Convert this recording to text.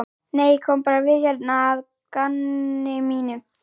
Nei, ég kom bara við hérna að gamni mínu.